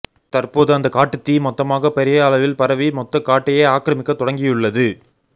தற்போது அந்த காட்டுத் தீ மொத்தமாக பெரிய அளவில் பரவி மொத்த காட்டையே ஆக்கிரமிக்க தொடங்கி உள்ளது